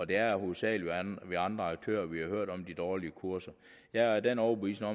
det er hovedsagelig ved andre aktører hvor vi har hørt om de dårlige kurser jeg er af den overbevisning